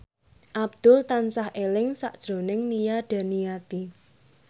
Abdul tansah eling sakjroning Nia Daniati